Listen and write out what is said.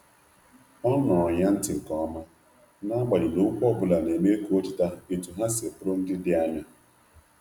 O nụụrụ ya ntị nke ọma, n’agbanyeghị na okwu ọ bụla na-eme ka o cheta etu ha si bụrụ ndị dị anya.